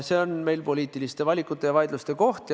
See on meil poliitiliste valikute ja vaidluste koht.